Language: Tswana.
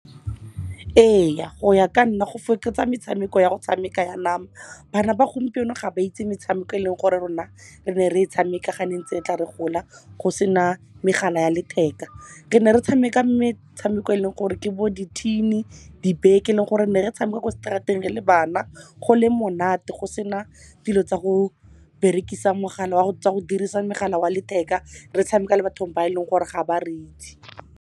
Ee, go ya ka nna go fokotsa metshameko ya go tshameka ya nama. Bana ba gompieno ga ba itse metshameko eleng gore rona re ne re e tshameka ga ne ntse re tla re gola go sena megala ya letheka. Re ne re tshameka tshameko eleng gore ke bo di-tin-e, di beke, eleng gore ne re tshameka ko straat-eng re le bana go le monate, go sena dilo tsa go dirisa mogala wa letheka, re tshameka le batho ba eleng gore ga ba re itse.